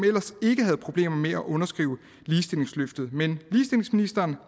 ikke havde problemer med at underskrive ligestillingsløftet men ligestillingsministeren